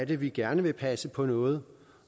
vi gerne vil passe på noget